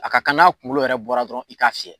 A ka kan n'a kunkolo yɛrɛ bɔra dɔrɔn i k'a fiyɛ